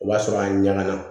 O b'a sɔrɔ a ɲaga na